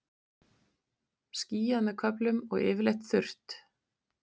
Skýjað með köflum og yfirleitt þurrt